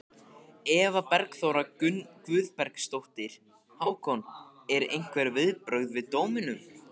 Eva Bergþóra Guðbergsdóttir: Hákon, einhver viðbrögð við dómnum?